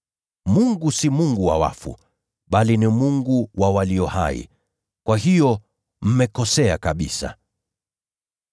Yeye si Mungu wa wafu, bali ni Mungu wa walio hai. Kwa hiyo mmekosea kabisa.”